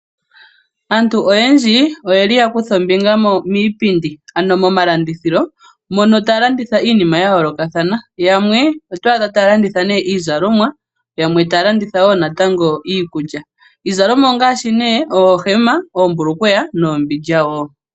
Aantu oyendji oye li ya kutha ombinga miipindi, ano momalandithilo , mono taya landitha iinima ya yoolokathana. Yamwe otwaadha otaya landitha iizalomwa , yamwe otaya landitha wo iikulya. Iizalomwa ongaashi oohema, oohulukweya nuumbindja wo.